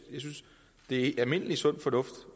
det er almindelig sund fornuft